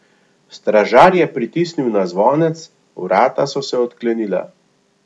Stražar je pritisnil na zvonec, vrata so se odklenila.